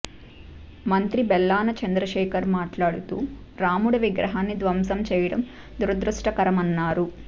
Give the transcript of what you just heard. మంత్రి బెల్లాన చంద్రశేఖర్ మాట్లాడుతూ రాముడి విగ్రహాన్ని ధ్వంసం చేయడం దురదృష్టకరమన్నారు